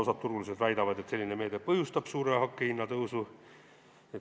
Osa turuosalisi väidab, et selline meede põhjustab suure hinnatõusu.